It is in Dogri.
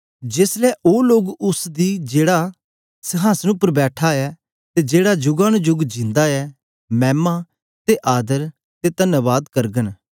जेस ले ओ लोग उस्स दी जेहड़ा संहासन उपर बैठा ऐ ते जेहड़ा जुगा नु जुग जिंदा ऐ मैमा ते आदर ते तन्वाद करगे